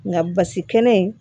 Nka basi kɛnɛ in